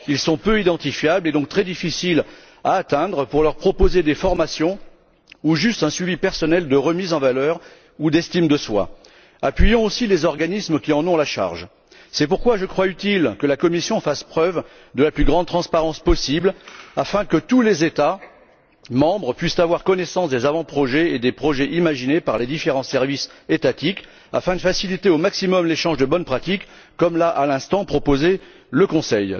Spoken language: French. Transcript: Ils sont peu identifiables, et on peut donc très difficilement les atteindre pour leur proposer des formations ou simplement un suivi personnel de remise en valeur ou d'estime de soi. C'est pourquoi il faut appuyer les organismes compétents dans ce domaine. Et à cet égard, je crois qu'il est utile que la Commission fasse preuve de la plus grande transparence possible, afin que tous les États membres puissent avoir connaissance des avant projets et des projets imaginés par les différents services étatiques, de manière à faciliter au maximum l'échange de bonnes pratiques comme l'a, à l'instant, proposé le Conseil.